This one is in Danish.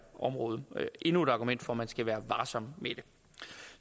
område endnu et argument for at man skal være varsom med det